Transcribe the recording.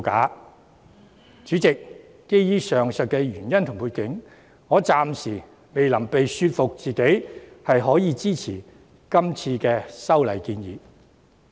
代理主席，基於上述原因和背景，我暫時未能說服自己支持今次的修訂建議。